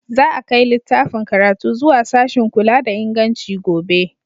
Za a kai littafin karatu zuwa sashin kula da inganci gobe.